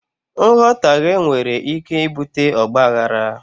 Nghọtaghe nwere ike ibute ọgbaaghara.